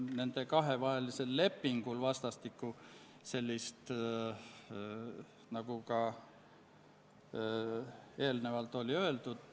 Seega on NRF-is osalemine otseselt seotud Eesti julgeolekuga.